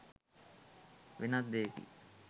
වෙනත් දෙයකි.